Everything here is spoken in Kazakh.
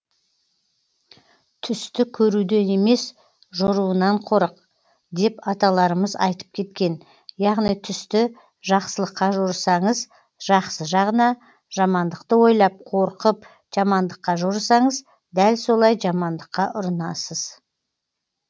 түсті көруден емес жоруынан қорық деп аталарымыз айтып кеткен яғни түсті жақсылыққа жорысаңыз жақсы жағына жамандықты ойлап қорқып жамандыққа жорысаңыз дәл солай жамандыққа ұрынасыз